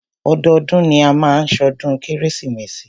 Ọdọọdún ni a máa má ṣọdún kérésìmesì.